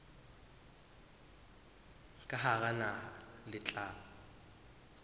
ka hara naha le tla